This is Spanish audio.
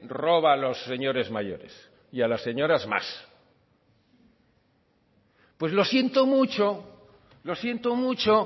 roba a los señores mayores y a las señoras más pues lo siento mucho lo siento mucho